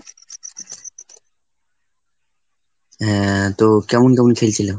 হ্যাঁ, তো কেমন কেমন খেলছিল?